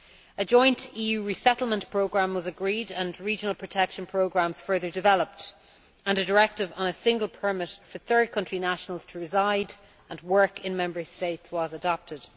A joint EU resettlement programme was agreed and regional protection programmes further developed, and a directive on a single permit for third country nationals to reside and work in Member States was adopted.